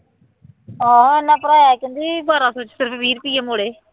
ਆਹੋ ਉਹਨੇ ਭਰਾਇਆ ਕਹਿੰਦੀ ਬਾਰਾਂ ਸੌ ਚ ਸਿਰਫ ਵੀਹ ਰੁਪਏ ਮੁੜੇ